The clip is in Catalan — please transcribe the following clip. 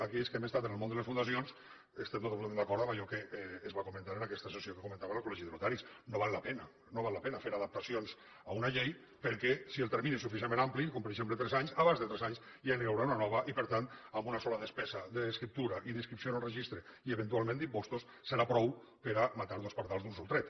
aquells que hem estat en el món de les fundacions estem totalment d’acord amb allò que es va comentar en aquesta sessió que comentava del col·legi de notaris no val la pena no val la pena fer adaptacions a una llei perquè si el termini és suficientment ampli com per exemple tres anys abans de tres anys ja n’hi haurà una de nova i per tant amb una sola despesa d’escriptura i d’inscripció en el registre i eventualment d’impostos serà prou per a matar dos pardals d’un sol tret